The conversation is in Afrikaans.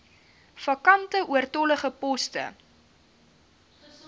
vakante oortollige poste